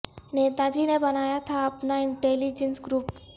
نیتا جی نے بنایا تھا اپنا انٹیلی جنس گروپ